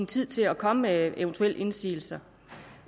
tid til at komme med eventuelle indsigelser